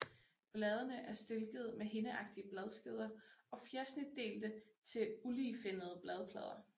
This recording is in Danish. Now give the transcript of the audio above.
Bladene er stilkede med hindeagtige bladskeder og fjersnitdelte til uligefinnede bladplader